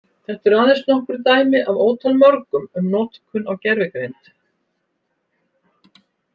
Þetta eru aðeins nokkur dæmi af ótal mörgum um notkun á gervigreind.